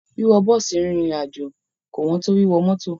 Wíwọ bọ́ọ̀sì rìnrìn àjò kò ẹn tó wíwọ mọ́tọ̀.